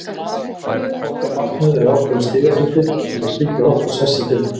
Okkar markmið er ákveðinn stigafjöldi til að tryggja okkar sess í deildinni.